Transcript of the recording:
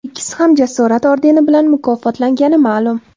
Ikkisi ham Jasorat ordeni bilan mukofotlangani ma’lum.